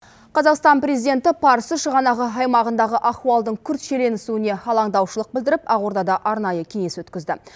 қазақстан президенті парсы шығанағы аймағындағы ахуалдың күрт шиеленісуіне алаңдаушылық білдіріп ақордада арнайы кеңес өткізді